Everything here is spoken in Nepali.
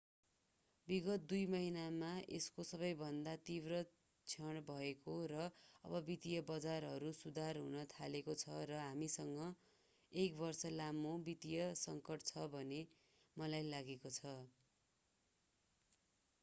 विगत दुई महिनामा यसको सबैभन्दा तीव्र क्षण भएको र अब वित्तीय बजारहरू सुधार हुन थालेको छ र हामीसँग एक बर्ष लामो वित्तीय सङ्कट छ भन्ने मलाई लागेको छ